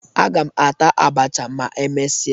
Aga m ata abacha ma e mesịa